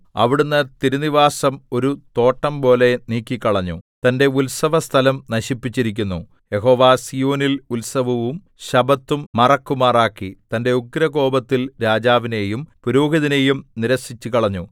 അവിടുന്ന് തിരുനിവാസം ഒരു തോട്ടംപോലെ നീക്കിക്കളഞ്ഞു തന്റെ ഉത്സവസ്ഥലം നശിപ്പിച്ചിരിക്കുന്നു യഹോവ സീയോനിൽ ഉത്സവവും ശബ്ബത്തും മറക്കുമാറാക്കി തന്റെ ഉഗ്രകോപത്തിൽ രാജാവിനെയും പുരോഹിതനെയും നിരസിച്ചുകളഞ്ഞു